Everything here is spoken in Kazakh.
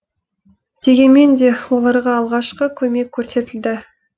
дегенмен де оларға алғашқы көмек көрсетілді